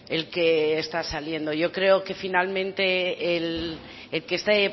el que está saliendo yo creo que finalmente el que este